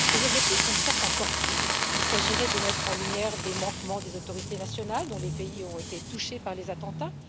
Ses objectifs sont, certes, encore flous il s'agirait de mettre en lumière des manquements des autorités nationales dont les pays ont été touchés par les attentats.